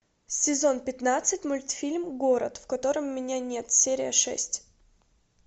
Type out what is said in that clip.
сезон пятнадцать мультфильм город в котором меня нет серия шесть